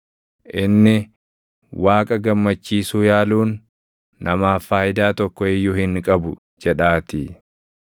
Inni, ‘Waaqa gammachiisuu yaaluun, namaaf faayidaa tokko iyyuu hin qabu’ jedhaatii.